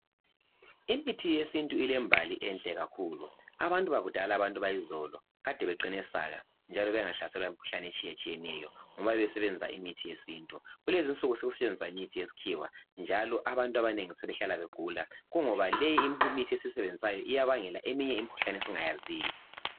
Imithi yesintu ilembali enhle kakhulu abantu bakudala abantu bayizolo kade beqine saka njalo bengahlaselwa yimikhuhlane etshiye tshiyeneyo ngoba besebenzisa imithi yesintu kulezinsuku sekusetshenziswa imithi yesikhiwa njalo abantu abanengi sebehlala begula kungoba le imithi esiyisebenzisayo iyabangela eminye imikhuhlane esingayaziyo.